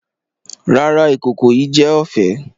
Rara, ikoko yii jẹ ọfẹ.